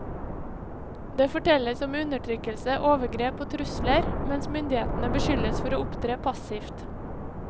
Det fortelles om undertrykkelse, overgrep og trusler, mens myndighetene beskyldes for å opptre passivt.